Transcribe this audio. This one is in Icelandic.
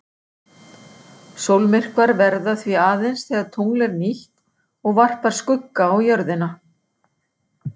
Sólmyrkvar verða því aðeins þegar tungl er nýtt og varpar skugga á jörðina.